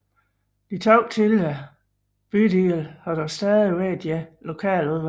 De to tidligere bydele har dog stadig hver deres lokaludvalg